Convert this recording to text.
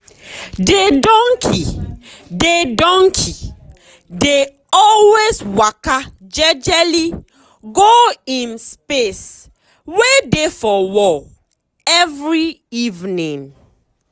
de donkey dey donkey dey always waka jejely um go um im um space wey dey for wall every evening.